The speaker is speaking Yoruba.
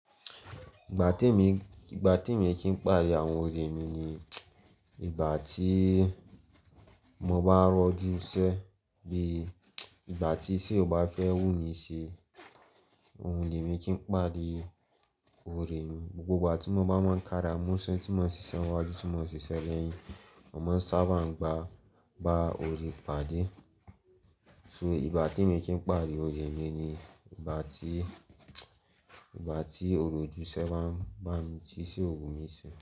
Ìgbà tí èmi, ìgbà tí èmi kí n pàdé àwọn òrè mi ni ìgbà tí mo bá rọ́jú sẹ́ bí ìgbà tí sé o bá fẹ́ wú mí ṣe. Mo le ri kí n pàdé ore mi, gbogbo ìgbà tí mo bá mọ́ kára, mó ń se tí mo ń ṣiṣẹ́ wájú, tí mo ń ṣiṣẹ́ lẹ́yìn, mo má ń sábà ń gba ba òrè pàdé. So ìgbà tí èmi kí n pàdé òrè mi ni ìgbà tí, ìgbà tí òrò ojúṣe bá, bá ti sé òrò mí ṣe.